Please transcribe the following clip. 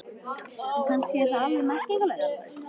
En kannski er það alveg merkingarlaust.